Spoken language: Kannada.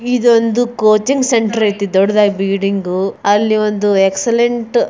ಇದು ಒಂದು ಕೋಚಿಂಗ್ ಸೆಂಟರ್ ಐತೆ ದೊಡ್ದುದಾಗಿ ಬಿಲ್ಡಿಂಗ್ ಅಲ್ಲಿ ಒಂದು ಎಕ್ಸಲೆಂಟ್ --